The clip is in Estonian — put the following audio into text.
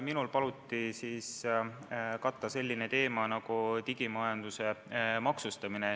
Minul paluti katta selline teema nagu digimajanduse maksustamine.